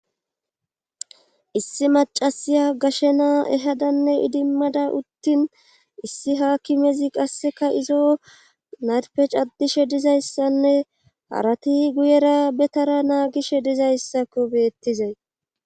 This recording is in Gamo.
issi macasiya gashe naa ehadanne idimmada uttin issi haakimezi qasseka izo narpe caddishe dizayssanne harati guyera betara naagishe dizayssakko beettizay